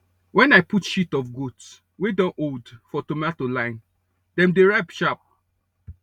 when i put shit of goat wey don old for tomato line dem dey ripe sharp